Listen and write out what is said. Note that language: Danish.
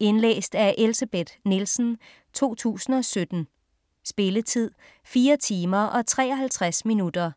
Indlæst af Elsebeth Nielsen, 2017. Spilletid: 4 timer, 53 minutter.